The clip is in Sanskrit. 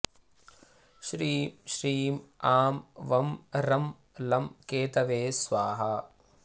श्रीं श्रीं आं वं रं लं केतवे स्वाहा